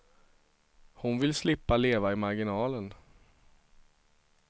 Hon vill slippa leva i marginalen.